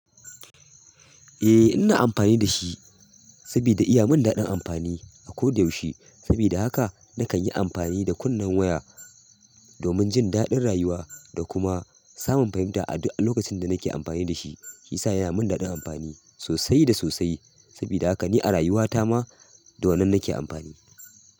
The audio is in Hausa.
Ehh ina amfani dashi sabida iyamin daɗin amfani ako da yaushe saboda haka nakan yi amfani da kunnen waya domin jin daɗin rayuwa da kuma samun fahimta a duk lokacin da nake amfani da shi. Yasa yana mun daɗin amfani sosai da sosai. Sabida haka ni a rayuwa ta ma da wannan nake amfani.